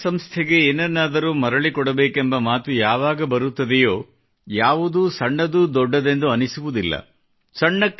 ಯಾವಾಗ ಸ್ವಲ್ಪ ಮರಳಿಸಬೇಕೆಂಬ ಮಾತು ಬರುತ್ತದೆಯೋ ಯಾವುದೂ ಸಣ್ಣದುದೊಡ್ಡದೆಂದು ಬರುವುದಿಲ್ಲ